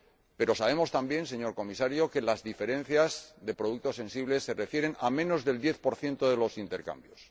Pero sabemos también, señor Comisario, que las diferencias de productos sensibles se refieren a menos del diez por ciento de los intercambios.